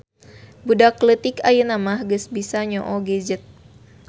Budak leutik ayeunamah geus bisa nyoo gadget